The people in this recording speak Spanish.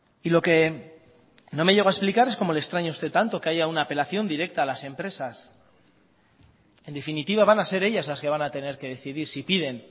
y lo que no me llego a explicar es como le extraña a usted tanto que haya una apelación directa a las empresas en definitiva van a ser ellas las que van a tener que decidir si piden